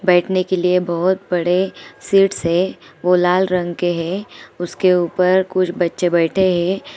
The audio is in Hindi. बैठने के लिए बहोत बड़े सीट्स हे वो लाल रंग के हे| उसके ऊपर कुछ बच्चे बेठे हे।